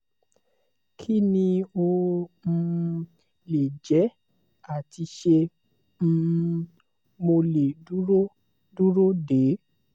kí ni ó um lè jẹ́ ati ṣé um mo le duro duro de?